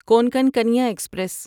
Konkan Kanya express